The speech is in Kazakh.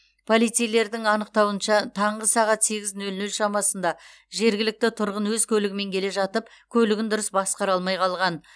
полицейлердің анықтауынша таңғы сағат сегіз нөл нөл шамасында жергілікті тұрғын өз көлігімен келе жатып көлігін дұрыс басқара алмай қалған